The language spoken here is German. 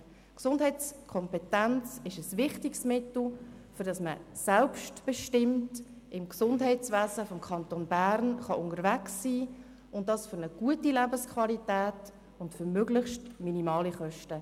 Die Gesundheitskompetenz ist ein wichtiges Mittel, um selbstbestimmt im Gesundheitswesen des Kantons Bern unterwegs zu sein, mit einer guten Lebensqualität und zu möglichst minimalen Kosten.